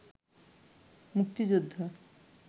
মুক্তিযোদ্ধা